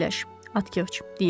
Atkeqç, deyirdi.